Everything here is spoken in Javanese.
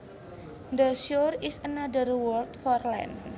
The shore is another word for land